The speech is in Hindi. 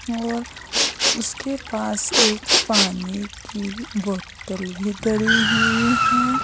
और उसके पास एक पानी की बोतल भी धरी हुई है।